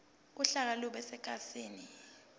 uhlaka lube sekhasini